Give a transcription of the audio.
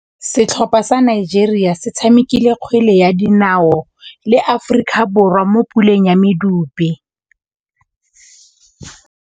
Setlhopha sa Nigeria se tshamekile kgwele ya dinaô le Aforika Borwa mo puleng ya medupe.